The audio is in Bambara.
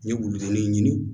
N ye wulu ɲini